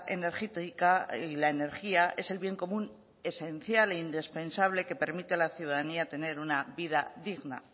energética y la energía es el bien común esencial e indispensable que permite a la ciudadanía tener una vida digna